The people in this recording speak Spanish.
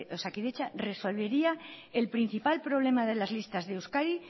osakidetza resolvería el principal problema de las listas de euskadi